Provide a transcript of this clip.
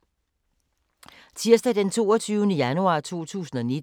Tirsdag d. 22. januar 2019